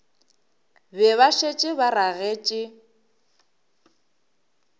be ba šetše ba ragetše